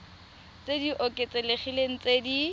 tse di oketsegileng tse di